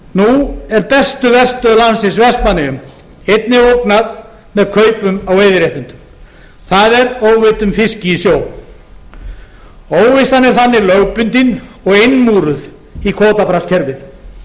nú er bestu verstöð landsins vestmannaeyjum einnig ógnað með kaupum á veiðiréttindum það er óveiddum fiski í sjó óvissan er þannig lögbundin og innmúruð í kvótabraskskerfið